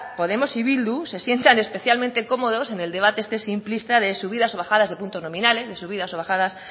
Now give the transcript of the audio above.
podemos y bildu se sientan especialmente cómodos en el debate este simplista de subidas o bajadas de puntos nominales de subidas o bajadas